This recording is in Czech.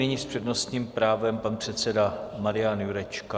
Nyní s přednostním právem pan předseda Marian Jurečka.